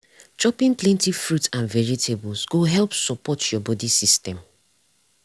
chopping plenty fruit and vegetables go help support your body system.